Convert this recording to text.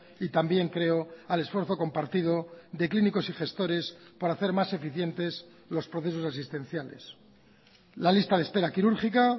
y también creo al esfuerzo compartido de clínicos y gestores para hacer más eficientes los procesos asistenciales la lista de espera quirúrgica